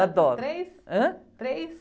Adoro.ão três?h?rês?